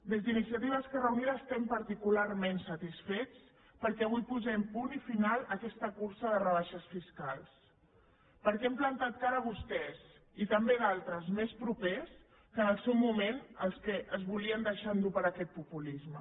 des d’iniciativa esquerra unida estem particularment satisfets perquè avui posem punt final a aquesta cursa de rebaixes fiscals perquè els hem plantat cara a vostès i també a d’altres més propers que en el seu moment es volien deixar endur per aquest populisme